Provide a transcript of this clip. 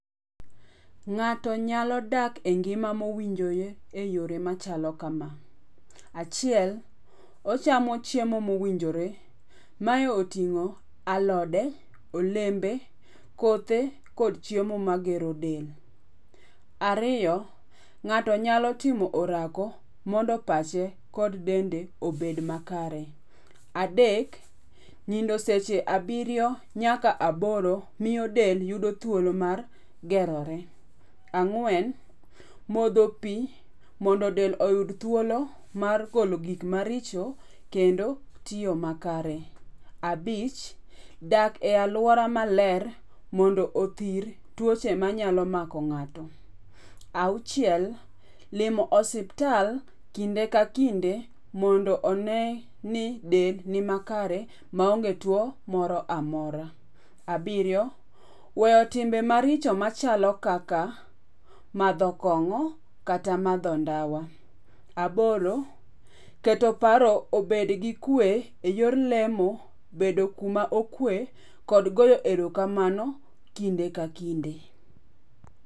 Ng'ato nyalo dak e ngima mowinjore e yore machalo kama. Achiel, ochamo chiemo mowinjore, mae oting'o alode, olembe, kothe kod chiemo magero del. Ariyo, ng'ato nyalo timo orako mondo pache kod dende obed makare. Adek, nindo seche abiriyo nyaka aboro miyo del yudo thuolo mar gerore. Ang'wen, modho pi mondo del oyud thuolo mar golo gik maricho kendo tiyo makare. Abich, dak e alwora maler mondo othir tuoche manyalo mako ng'ato. Auchiel, limo osiptal kinde ka kinde mondo one ni del ni makare maonge tuo moro amora. Abiriyo, weyo timbe maricho machalo kaka, madho kong'o kata madho ndawa. Aboro, keto paro obed gi kwe e yor lemo, bedo kuma okwe kod goyo erokamano kinde ka kinde.